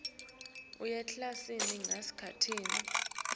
bonkhe bafundzi kutsi